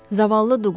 Zavallı Duqlas.